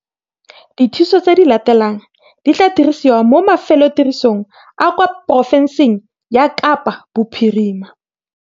Dithuso tse di latelang di tla dirisiwa mo mafelotirisong a kwa porofenseng ya Kapa Bophirima.